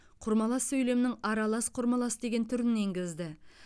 құрмалас сөйлемнің аралас құрмалас деген түрін енгізді